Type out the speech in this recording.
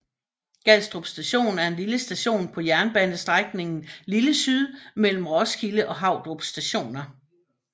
Gadstrup station er en station på jernbanestrækningen Lille Syd mellem Roskilde og Havdrup stationer